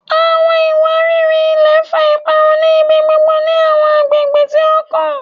Awọn iwariri-ilẹ fa iparun ni ibigbogbo ni awọn agbegbe ti o kan